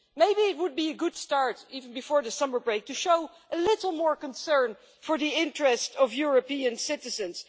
Maybe it would be a good start, even before the summer break, to show a little more concern for the interests of European citizens.